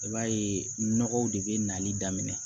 I b'a ye nɔgɔw de bɛ nali daminɛ